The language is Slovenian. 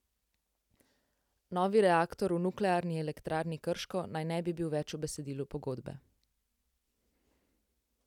Novi reaktor v Nuklearni elektrarni Krško naj ne bi bil več v besedilu pogodbe.